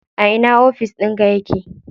A ina ofis ɗinka yake?